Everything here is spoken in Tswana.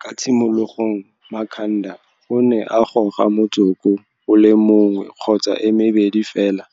Kwa tshimologong Makhanda o ne a goga motsoko o le mong kgotsa e mebedi fela